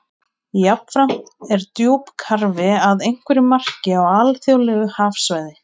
Jafnframt er djúpkarfi að einhverju marki á alþjóðlegu hafsvæði.